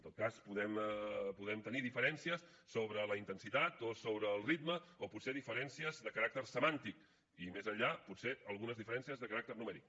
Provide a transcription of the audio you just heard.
en tot cas podem tenir diferències sobre la intensitat o sobre el ritme o potser diferències de caràcter semàntic i més enllà potser algunes diferències de caràcter numèric